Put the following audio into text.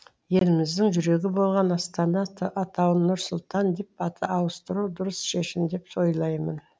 еліміздің жүрегі болған астана атауын нұр сұлтан деп ауыстыру дұрыс шешім деп ойлаймын